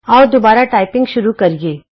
ਆਉ ਦੁਬਾਰਾ ਟਾਈਪਿੰਗ ਸ਼ੁਰੂ ਕਰੀਏ